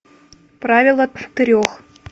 правило трех